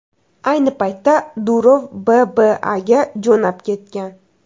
Ayni paytda Durov BAAga jo‘nab ketgan.